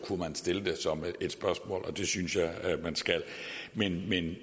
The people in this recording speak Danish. kunne stille det som et spørgsmål og det synes jeg man skal men meningen